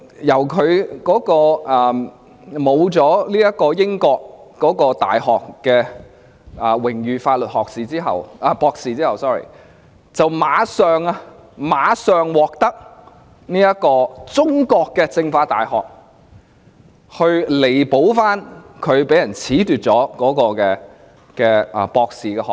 當他失去了英國大學的榮譽法律博士學位後，立即便獲得中國政法大學為他彌補被人褫奪了的博士學位。